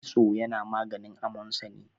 kitso yana maganin amonsani